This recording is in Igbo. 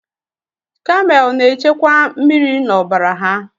Kamel na echekwa mmiri na ọbara ha.